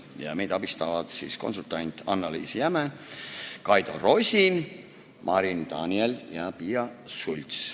Ja meid abistasid konsultant Annaliisa Jäme, Kaido Rosin, Marin Daniel ja Piia Schults.